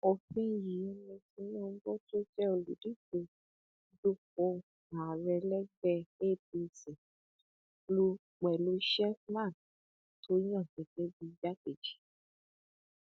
òfin yìí ni tinubu tó jẹ olùdíje dupò ààrẹ lẹgbẹ apc lù pẹlú sheffman tó yan gẹgẹ bíi igbákejì